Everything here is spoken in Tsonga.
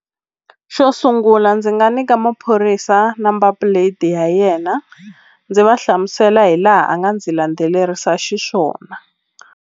Xo sungula ndzi nga nyika maphorisa number plate ya yena ndzi va hlamusela hi laha a nga ndzi landzelerisa xiswona.